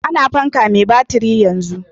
A na fanka mai batiri yanzu